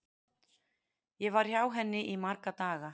Ég var hjá henni í marga daga.